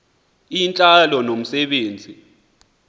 intlalo nomse benzi